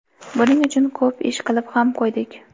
Buning uchun ko‘p ish qilib ham qo‘ydik.